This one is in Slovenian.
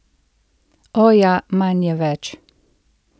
O, ja, manj je več!